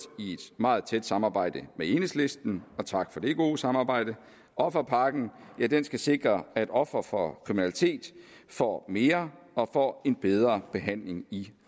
meget tæt samarbejde med enhedslisten og tak for det gode samarbejde offerpakken skal sikre at ofre for kriminalitet får mere og får en bedre behandling i